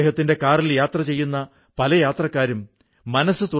സാവധാനം മറ്റു വനിതകളും അവരുടെ കൂടെ ചേർന്നു